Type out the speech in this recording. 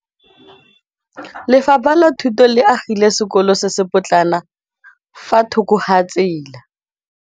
Lefapha la Thuto le agile sekôlô se se pôtlana fa thoko ga tsela.